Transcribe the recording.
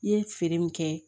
I ye feere min kɛ